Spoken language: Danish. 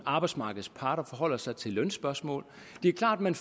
at arbejdsmarkedets parter forholder sig til lønspørgsmål det er klart at man